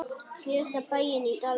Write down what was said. Síðasta bæinn í dalnum.